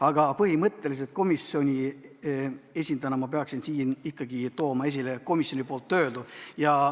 Aga põhimõtteliselt komisjoni esindajana peaksin ma siin ikkagi tooma esile komisjonis öeldu.